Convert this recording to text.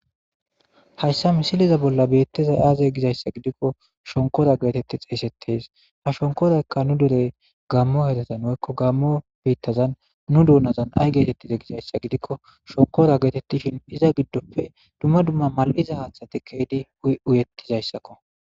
Hayisaisileza bola betizayisi aze gizayisa gidikko shonikkora geseti xesetees shonikorayika nu deren gamoderetan woyikko Gamo bitaza nu doonazan ay getetize gizayisa gidikko shoniko getetishin iza giddoppe dumma dumma maliza haaththati kezidi uyetizayisaakko